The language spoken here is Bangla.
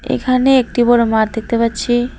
এখানে একটি বড় মাঠ দেখতে পাচ্ছি।